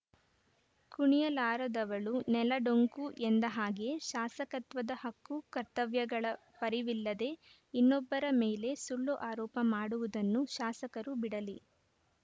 ಕುಣಿಯಲಾರದವಳು ನೆಲಡೊಂಕು ಎಂದ ಹಾಗೇ ಶಾಸಕತ್ವದ ಹಕ್ಕು ಕರ್ತವ್ಯಗಳ ಪರಿವಿಲ್ಲದೆ ಇನ್ನೊಬ್ಬರ ಮೇಲೆ ಸುಳ್ಳು ಆರೋಪ ಮಾಡುವುದನ್ನು ಶಾಸಕರು ಬಿಡಲಿ